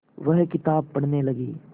वह किताब पढ़ने लगे